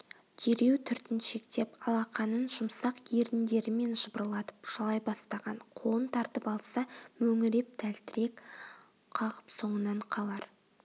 дереу түртіншектеп алақанын жұмсақ еріндерімен жыбырлатып жалай бастаған қолын тартып алса мөңіреп тәлтірек қағып соңынан қалар